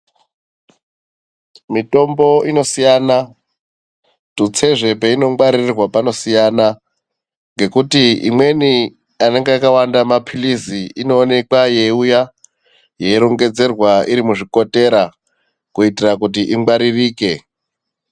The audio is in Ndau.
Mitombo inosiyana , kutsezve peinongwaririrwa panosiyana ngekuti imweni panonga pakawanda mapilizi inooneka yeiuya yeirongedzerwa irimuzvikotera kuita kuti ingwaririke .